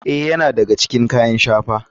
Ee, yana daga cikin kayan shafawa.